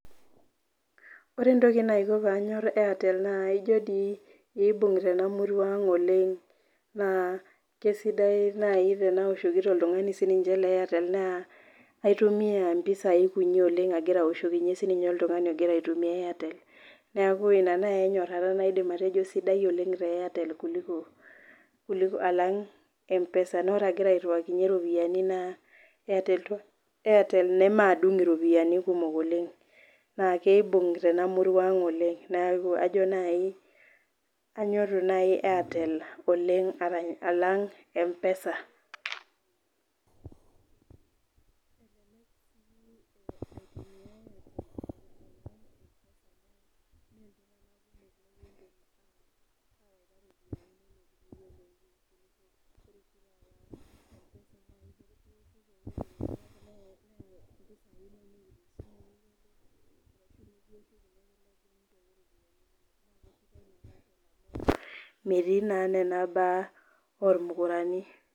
Ore entoki naiko pee anyor Airtel naa aijo dii eibung' tena murua aang' oleng', naa kesidai naaji tenaoshoki oltung'ani le Airtel neya aitumiya impisai kuti oleng' agira aoshokinye sininye oltung'anilogira aitumia Airtel, neaku ina naaji enyorata naidim atejo saidai oleng' te Airtel kuliko alang' e,pesa naa ore ake palo airuwakinye iropiani naa airtel nemaadung' iropiani kumok oleng'. Naa keibung' tena murau ang' oleng' neaku ajo naaji anyoru naaji airtel oleng' alang' empesa.[silent] metii naa nena baa olmukorani.